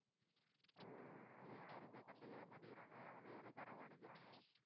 ஆஹ் அதை யாருமே கண்டுக்கிட மாட்டேங்கிறாங்க. அதை இளக்காரமா நினைக்கிறாங்க